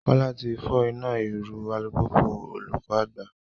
Kola ti fọ ina iru u alupupu olukọ agba